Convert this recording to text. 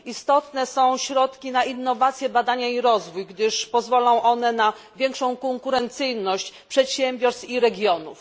Istotne są środki na innowacje, badania i rozwój, gdyż pozwolą one na większą konkurencyjność przedsiębiorstw i regionów.